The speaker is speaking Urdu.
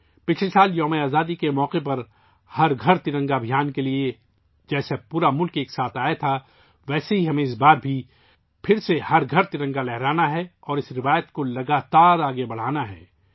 پچھلے سال یوم آزادی کے موقع پر 'ہر گھر ترنگا ابھیان' کے لیے پورا ملک اکٹھا ہوا تھا، اسی طرح اس بار بھی ہمیں ہر گھر پر ترنگا لہرانا ہے اور اس روایت کو لگاتار آگے بڑھانا ہے